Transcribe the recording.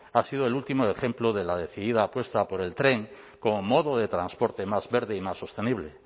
ha sido el último ejemplo de la decidida apuesta por el tren como modo de transporte más verde y más sostenible